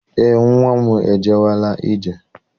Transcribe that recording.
Eé, nnwa m ejewela ije.